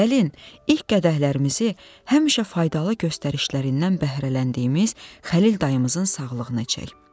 Gəlin ilk qədəhlərimizi həmişə faydalı göstərişlərindən bəhrələndiyimiz Xəlil dayımızın sağlıqına çəkək.